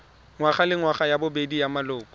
ngwagalengwaga ya bobedi ya maloko